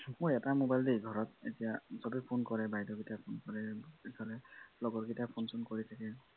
মোৰ এটা mobile দেই ঘৰত এতিয়া সবে ফোন কৰে বাইদেউহতে phone কৰে ইফালে লগৰ গিটা phone চোন কৰি থাকে